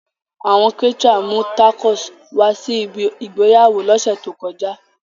Awọn caterer mu tacos wa si ibi igbeyawo lose to koja.